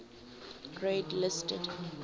grade listed